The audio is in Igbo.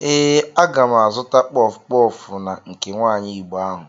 Ee, aga m azụta kpọf kpọf na nke nwaanyi igbo ahụ.